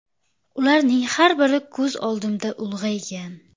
Ularning har biri ko‘z oldimda ulg‘aygan.